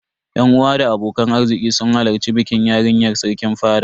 Yan uwa da abokan arziki sun hallari bikin yarinyar Sarkin fada.